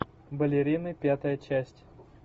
балерины пятая часть